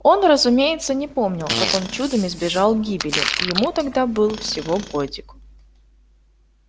он разумеется не помнил как он чудом избежал гибели ему тогда был всего годик